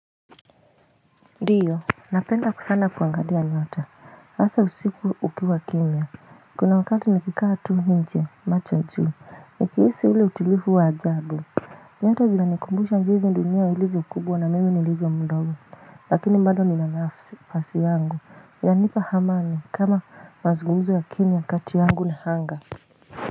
Diyo Napenda sana kuangalia nyota hasa usiku ukiwa kimya Kuna wakati nikikaa tu nje macho juu nikihisi ule utilifu wa ajabu nyota vinanikumbusha jinzi dunia ilivyo kubwa na mimi nilivyo mdogo lakini bado nina nafasi yangu yanipa hamani kama mazungumzo ya kimya kati yangu ni hanga.